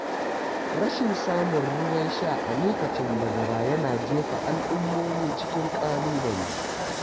Rashin samun ruwan sha a lokacin bazara yana jefa al’ummomi cikin ƙalubale.